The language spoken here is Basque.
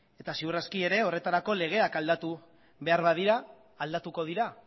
eta seguruaski ere horretarako legeak aldatu behar badira aldatuko dira